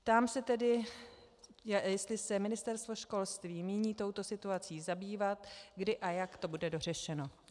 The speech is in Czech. Ptám se tedy, jestli se Ministerstvo školství míní touto situací zabývat, kdy a jak to bude dořešeno.